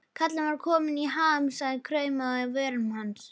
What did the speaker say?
Kallinn var kominn í ham, sagan kraumaði á vörum hans.